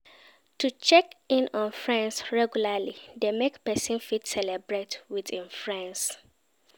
To check in on friends regularly de make persin fit celebrate with im friends